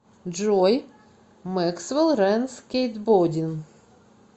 джой мэксвел рэн скейтбодин